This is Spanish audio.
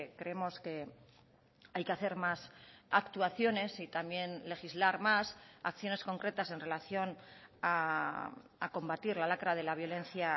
creemos que hay que hacer más actuaciones y también legislar más acciones concretas en relación a combatir la lacra de la violencia